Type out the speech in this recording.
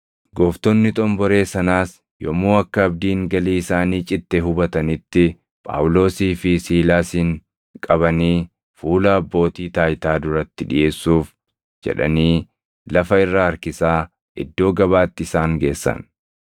Gooftonni xomboree sanaas yommuu akka abdiin galii isaanii citte hubatanitti Phaawulosii fi Siilaasin qabanii fuula abbootii taayitaa duratti dhiʼeessuuf jedhanii lafa irra harkisaa iddoo gabaatti isaan geessan.